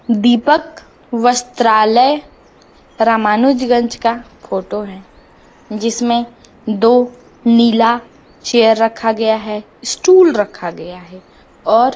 दीपक वस्त्रालय रामानुजगंज का फोटो है जिसमें दो नीला चेयर रखा गया है स्टूल रखा गया है और--